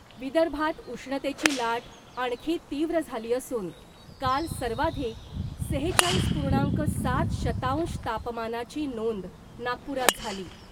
विदर्भात उष्णतेची लाट आणखी तीव्र झाली असून काल सर्वाधिक सेहेचाळीस पुर्णांक सात शतांश तापमानाची नोंद नागपुरात झाली .